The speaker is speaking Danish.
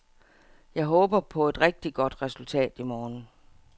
Jeg håber på et rigtigt godt resultat i morgen.